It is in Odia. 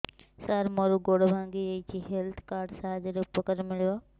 ସାର ମୋର ଗୋଡ଼ ଭାଙ୍ଗି ଯାଇଛି ହେଲ୍ଥ କାର୍ଡ ସାହାଯ୍ୟରେ ଉପକାର ମିଳିବ